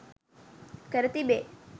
කර තිබේ.